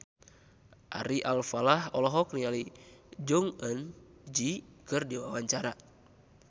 Ari Alfalah olohok ningali Jong Eun Ji keur diwawancara